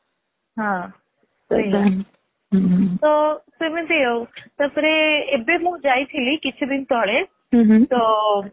ହଁ ସେଇଆ ତ ସେମିତି ଆଉ ତାପରେ ଏବେ ମୁଁ ଯାଇଥିଲି କିଛି ଦିନ ତଳେ ତ